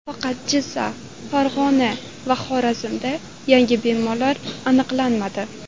Faqat Jizzax, Farg‘ona va Xorazmda yangi bemorlar aniqlanmadi.